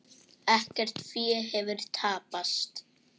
Ekkert fé hefur tapast.